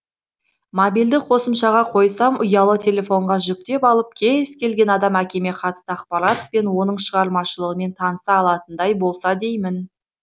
мобильді қосымшаға қойсам ұялы телефонға жүктеп алып кез келген адам әкеме қатысты ақпарат пен оның шығармашылығымен таныса алатындай болса деймін